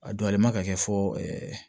A don ale ma ka kɛ fɔ